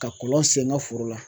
Ka kɔlɔn sen n ka foro la.